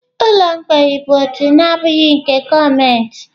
Ụlọ mgbei bụ òtù na-abụghị nke gọọmenti.